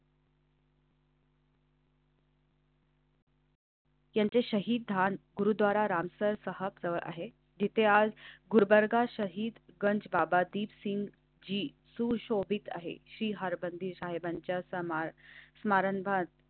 त्यांचे शहीद धान गुरुद्वारा राम सरसहा आहे. तिथे आज गुलबर्गा, शहीदगंज, बाबा दीपसिंगजी सुशोभित आहे. स्मरण भात.